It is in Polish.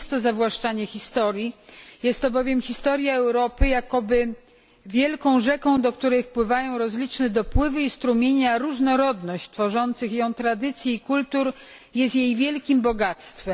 Nie jest to zawłaszczanie historii, jest bowiem historia Europy jakoby wielką rzeką, do której wpływają rozliczne dopływy i strumienie, a różnorodność tworzących ją tradycji i kultur jest jej wielkim bogactwem.